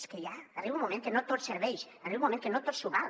és que ja arriba un moment que no tot serveix arriba un moment que no tot s’hi val